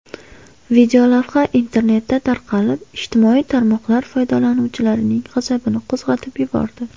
Videolavha internetda tarqalib, ijtimoiy tarmoqlar foydalanuvchilarining g‘azabini qo‘zg‘atib yubordi.